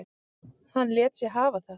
Hann lét sig hafa það.